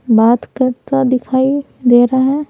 बात करता दिखाई दे रहा है।